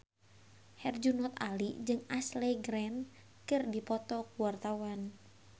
Herjunot Ali jeung Ashley Greene keur dipoto ku wartawan